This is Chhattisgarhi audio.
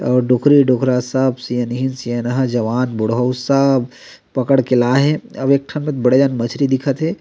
आऊ डोकरी-डोकरा सब सियनहीन-सियनहा जवान बुड़हउ सब पकड़ के ला हे आऊ एक ठन म बड़ेक जन मछरी दिखत हे।